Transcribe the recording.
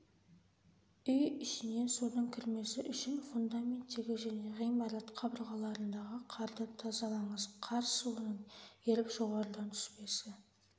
үй ішіне судың кірмесі үшін фундаменттегі және ғимарат қабырғаларындағы қарды тазалаңыз қар суының еріп жоғарыдан түспесі